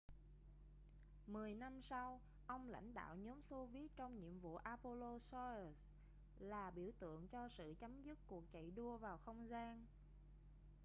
mười năm sau ông lãnh đạo nhóm xô viết trong nhiệm vụ apollo-soyuz là biểu tượng cho sự chấm dứt cuộc chạy đua vào không gian